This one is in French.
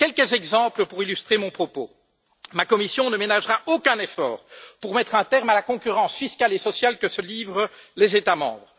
Quelques exemples pour illustrer mon propos ma Commission ne ménagera aucun effort pour mettre un terme à la concurrence fiscale et sociale que se livrent les États membres.